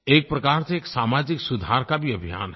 एक प्रकार से एक सामाजिक सुधार का भी अभियान है